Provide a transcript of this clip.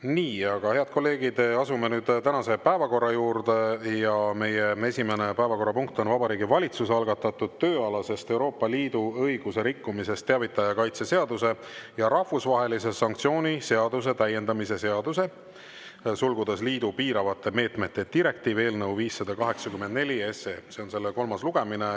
Nii, aga, head kolleegid, asume nüüd tänase päevakorra juurde ja meie esimene päevakorrapunkt on Vabariigi Valitsuse algatatud tööalasest Euroopa Liidu õiguse rikkumisest teavitaja kaitse seaduse ja rahvusvahelise sanktsiooni seaduse täiendamise seaduse eelnõu 584, see on selle kolmas lugemine.